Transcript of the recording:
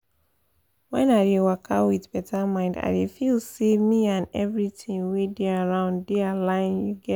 wen i dey waka with better mind i dey feel say me and everything wey dey around dey align you get